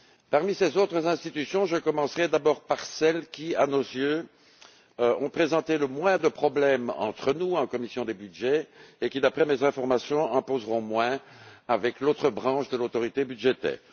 Parmi ces autres institutions, je commencerais d'abord par celles qui, à nos yeux, ont présenté le moins de problèmes entre nous, en commission des budgets, et qui, d'après mes informations, en poseront moins avec l'autre branche de l'autorité budgétaire.